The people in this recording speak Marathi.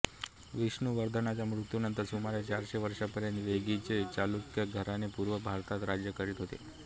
विष्णुवर्धनाच्या मृत्यूनंतर सुमारे चारशे वर्षांपर्यंत वेंगीचे चालुक्य घराणे पूर्व भारतात राज्य करीत होते